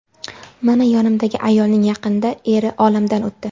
Mana yonimdagi ayolning yaqinda eri olamdan o‘tdi.